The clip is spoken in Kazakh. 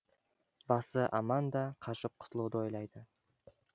басы аманда қашып құтылуды ойлады